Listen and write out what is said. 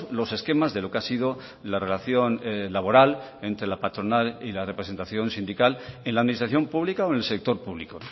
los esquemas de lo que ha sido la relación laboral entre la patronal y la representación sindical en la administración pública o en el sector público